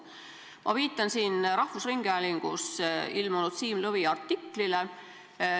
Ma viitan siin rahvusringhäälingu uudistes ilmunud artiklile.